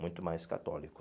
Muito mais católico.